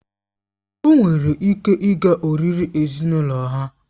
O nwere ike ịga oriri ezinụlọ ha